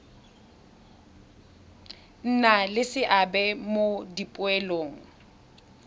nna le seabe mo dipoelong